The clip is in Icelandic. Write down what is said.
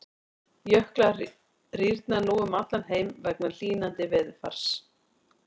Jöklar rýrna nú um allan heim vegna hlýnandi veðurfars.